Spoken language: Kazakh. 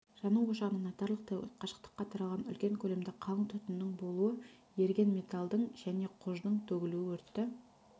жану ошағынан айтарлықтай қашықтыққа таралған үлкен көлемдегі қалың түтіннің болуы еріген металлдың және қождың төгілуі өртті